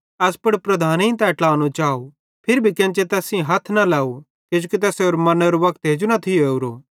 एस पुड़ लीडरेईं तै ट्लानो चाव फिरी भी केन्चे तैस सेइं हथ न लव किजोकि तैसेरो मरनेरो वक्त हेजू न थियो ओरो